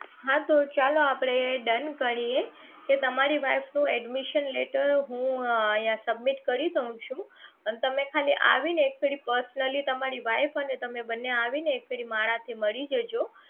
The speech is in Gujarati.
હાં તો ચાલો આપણે done કરીએ કે તમારી wife નું admission letter હું અહીંયા submit કરી છું અને તમે ખાલી આવીને એક ફેરી તમારી wife અને તમે બંને આવીને એક ફેરી મારા થી મળી જજો